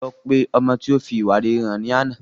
Lọ pe ọmọ tí ó fi ìwà rere hàn ní àná